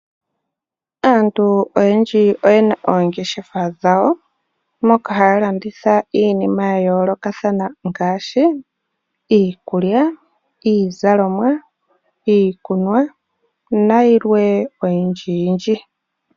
Aantu oyendji oye na oongeshefa dhawo, moka haya landitha iinima ya yoolokathana ngaashi: iikulya, iizalomwa, iikunwa nayilwe oyindjiyindji.